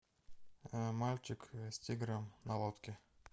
мальчик с тигром на лодке